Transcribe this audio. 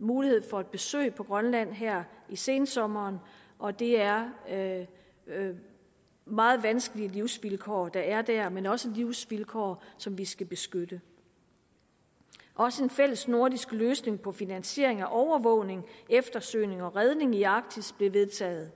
mulighed for et besøg på grønland her i sensommeren og det er meget vanskelige livsvilkår der er der men også livsvilkår vi skal beskytte også en fællesnordisk løsning på finansiering og overvågning eftersøgning og redning i arktis blev vedtaget